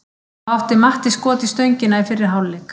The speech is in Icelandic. Þá átti Matti skot í stöngina í fyrri hálfleik.